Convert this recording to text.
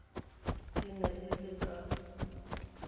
e ne e le ka